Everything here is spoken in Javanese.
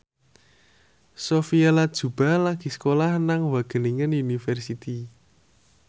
Sophia Latjuba lagi sekolah nang Wageningen University